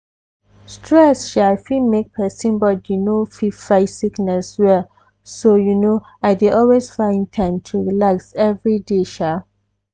stress sha fit make person body no fit fight sickness well so you know i dey always find time to relax everyday. sha.